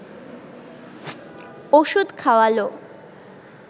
ওষুধ খাওয়াল